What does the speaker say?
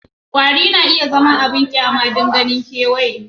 Kwari na iya zama abin banƙyama don ganin kewaye